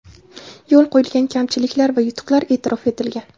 Yo‘l qo‘yilgan kamchiliklar va yutuqlar e’tirof etilgan.